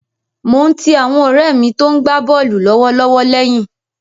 Mo ń ti àwọn ọ̀rẹ́ mi tó ń gbá bọ́ọ̀lù lọ́wọ́lọ́wọ́ lẹ́yìn.